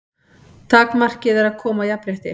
Takmarkið er að koma á jafnrétti.